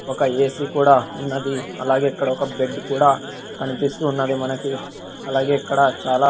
ఒక ఏ_సి కూడా ఉన్నది అలాగే ఇక్కడ ఒక బెడ్ కూడా కనిపిస్తున్నది మనకి అలాగే ఇక్కడ చాలా--